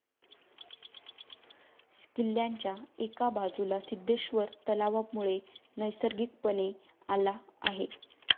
किल्ल्याच्या एका बाजूला सिद्धेश्वर तलावामुळे नैसर्गिकपणे आला आहे.